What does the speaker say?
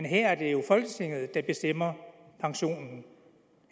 men her er det jo folketinget der bestemmer pensionen